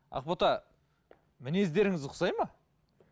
ақбота мінездеріңіз ұқсайды ма